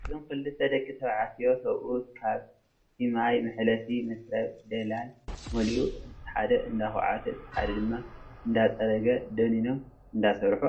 እዞም ክልተ ደቂ ተባዕትዮ ሰብኡት ኣብ ቲ ማይ መሕለፊ መትረብ ደለለል መሊኡ እቲሓደ እንዳኳዓተ እቲ ሓደ ድማ እንዳፀረገ ደኒኖም እንዳሰረሑ ኣለው።